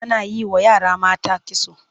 Ana yi wa yara mata kitso.